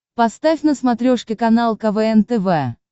поставь на смотрешке канал квн тв